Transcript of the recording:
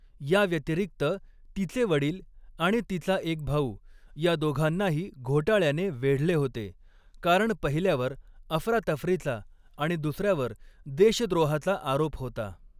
याव्यतिरिक्त, तिचे वडील आणि तिचा एक भाऊ या दोघांनाही घोटाळ्याने वेढले होते, कारण पहिल्यावर अफरातफरीचा आणि दुसऱ्यावर देशद्रोहाचा आरोप होता.